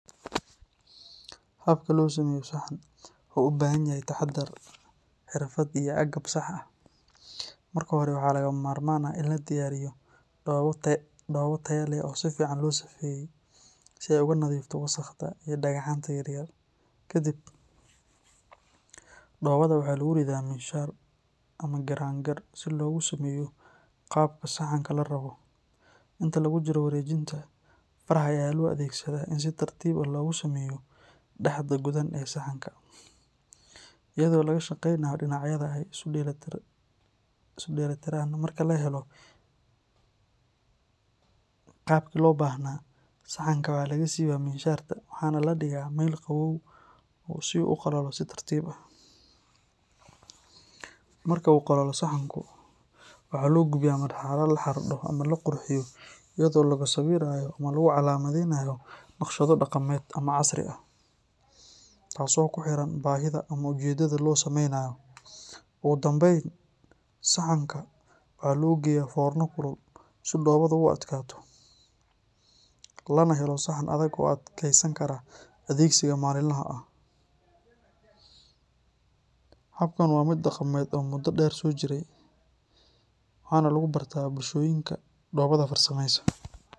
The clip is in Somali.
Habka loo sameeyo saxan wuxuu u baahan yahay taxadar, xirfad iyo agab sax ah. Marka hore, waxaa lagama maarmaan ah in la diyaariyo dhoobo tayo leh oo si fiican loo safeeyey si ay uga nadiifto wasakhda iyo dhagaxaanta yaryar. Kadib, dhoobada waxaa lagu riddaa miinshaar ama giraangir si loogu sameeyo qaabka saxanka la rabo. Inta lagu jiro wareejinta, faraha ayaa loo adeegsadaa in si tartiib ah loogu sameeyo dhexda godan ee saxanka, iyadoo laga shaqeynayo dhinacyada si ay isu dheellitiraan. Marka la helo qaabkii loo baahnaa, saxanka waxaa laga siibaa miinshaarta waxaana la dhigaa meel qabow si uu u qalalo si tartiib ah. Marka uu qalalo saxanku, waxaa loo gudbiyaa marxaladda la xardho ama la qurxiyo iyadoo lagu sawirayo ama lagu calaamadinayo naqshado dhaqameed ama casri ah, taasoo ku xiran baahida ama ujeedada loo samaynayo. Ugu dambayn, saxanka waxaa loo geliyaa foorno kulul si dhoobadu u adkaato, lana helo saxan adag oo adkeysan kara adeegsiga maalinlaha ah. Habkan waa mid dhaqameed oo muddo dheer soo jiray, waxaana lagu bartaa bulshooyinka dhoobada farsameeya.